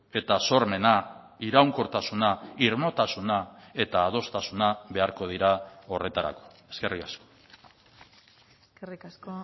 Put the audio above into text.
eta sormena iraunkortasuna irmotasuna eta adostasuna beharko dira horretarako eskerrik asko eskerrik asko